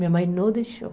Minha mãe não deixou.